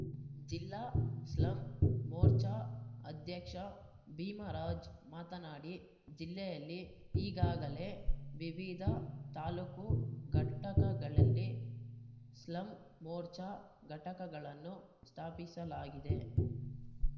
ಜಿಲ್ಲಾ ಸ್ಲಂ ಮೋರ್ಚಾ ಅಧ್ಯಕ್ಷ ಭೀಮರಾಜ್‌ ಮಾತನಾಡಿ ಜಿಲ್ಲೆಯಲ್ಲಿ ಈಗಾಗಲೇ ವಿವಿಧ ತಾಲೂಕು ಘಟಕಗಳಲ್ಲಿ ಸ್ಲಂ ಮೋರ್ಚಾ ಘಟಕಳನ್ನು ಸ್ಥಾಪಿಸಲಾಗಿದೆ